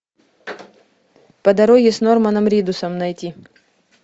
по дороге с норманом ридусом найти